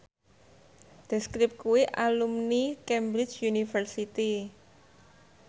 The Script kuwi alumni Cambridge University